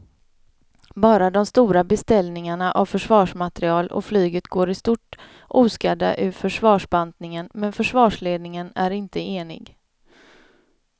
Bara de stora beställningarna av försvarsmateriel och flyget går i stort oskadda ur försvarsbantningen men försvarsledningen är inte enig.